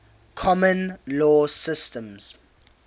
common law systems